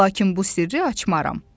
Lakin bu sirri açmaram.